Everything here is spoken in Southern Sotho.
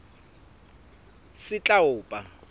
setlaopa